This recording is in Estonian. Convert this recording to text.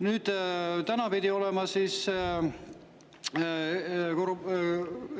Nüüd, täna pidi olema